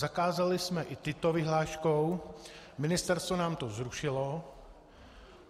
Zakázali jsme i tyto vyhláškou, Ministerstvo nám to zrušilo.